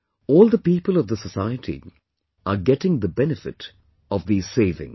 All the people of the Society are getting the benefit of this savings